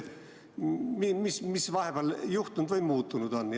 Mis siis vahepeal on juhtunud või muutunud?